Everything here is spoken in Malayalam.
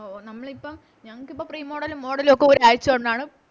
ഓ നമ്മളിപ്പോ ഞങ്ങക്കിപ്പോ Pre model ലും Model ലും ഒക്കെ ഒരാഴ്ച കൊണ്ടാണ്